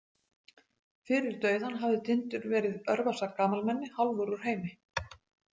Fyrir dauðann hafði Tindur verið örvasa gamalmenni, hálfur úr heimi.